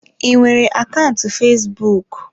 I nwere akaụntụ fesbụụk?